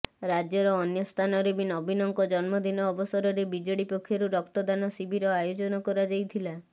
ରାଜ୍ୟର ଅନ୍ୟ ସ୍ଥାନରେ ବି ନବୀନଙ୍କ ଜନ୍ମଦିନ ଅବସରରେ ବିଜେଡି ପକ୍ଷରୁ ରକ୍ତଦାନ ଶିବିର ଆୟୋଜନ କରାଯାଇଥିଲା